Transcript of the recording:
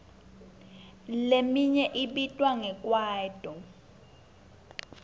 leminye ibitwa nge kwaito